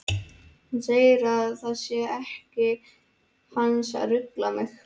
Hann segir að það sé ekki hans að rugla mig.